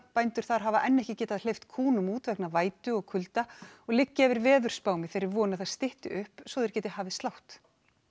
bændur hafa enn ekki getað hleypt kúnum út vegna vætu og kulda og liggja yfir veðurspám í þeirri von að það stytti upp svo þeir geti hafið slátt